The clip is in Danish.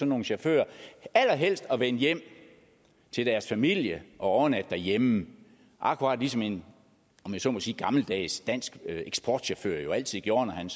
nogle chauffører allerhelst at vende hjem til deres familie og overnatte derhjemme akkurat ligesom en om jeg så må sige gammeldags dansk eksportchauffør jo altid gjorde når han